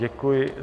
Děkuji.